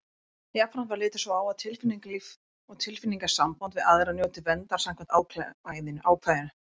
Jafnframt er litið svo á að tilfinningalíf og tilfinningasambönd við aðra njóti verndar samkvæmt ákvæðinu.